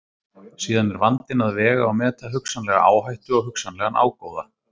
Síðan er vandinn að vega og meta hugsanlega áhættu og hugsanlegan ágóða.